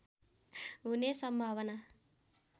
हुने सम्भावना